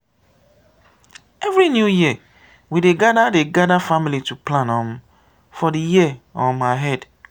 every new year we dey gather dey gather family to plan um for the year um ahead.